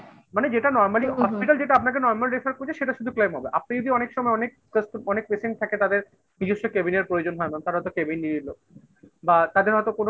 মানে যেটা normally hospital যেটা আপনাকে normal refer করছে সেটা শুধু claim হবে। আপনি যদি অনেক সময় অনেক অনেক patient থাকে তাদের নিজস্ব cabin র প্রয়োজন হয় না তাঁরা তো cabin নিয়ে নিল বা তাদের হয়তো কোনো